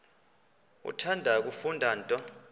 uthanda kufunda nto